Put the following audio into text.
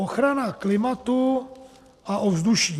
Ochrana klimatu a ovzduší.